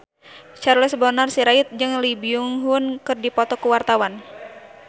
Charles Bonar Sirait jeung Lee Byung Hun keur dipoto ku wartawan